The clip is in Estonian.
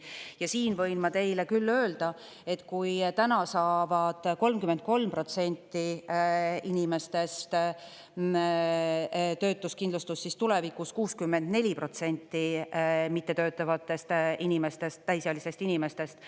Ja siin võin ma teile küll öelda, et kui täna saavad 33% inimestest töötuskindlustust, siis tulevikus 64% mittetöötavatest inimestest, täisealistest inimestest.